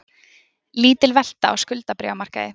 Lítil velta á skuldabréfamarkaði